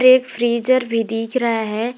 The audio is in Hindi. एक फ्रीजर भी दिख रहा है।